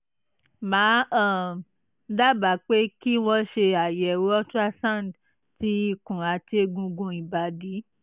màá um dábàá pé kí wọ́n ṣe àyẹ̀wò ultrasound ti ikùn àti egungun ìbàdí